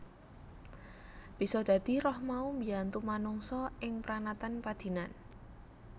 Bisa dadi roh mau mbiyantu manungsa ing pranatan padinan